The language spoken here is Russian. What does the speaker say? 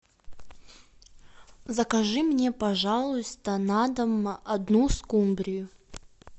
закажи мне пожалуйста на дом одну скумбрию